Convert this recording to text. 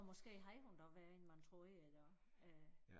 Og måske havde hun det også værre end man troede endda